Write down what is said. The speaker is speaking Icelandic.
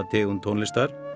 tegund tónlistar